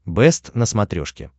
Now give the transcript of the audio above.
бэст на смотрешке